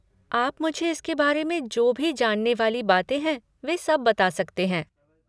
आप मुझे इसके बारे जो भी जानने वाली बातें है वे सब बता सकते हैं।